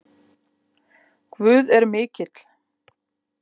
Guð er mikill.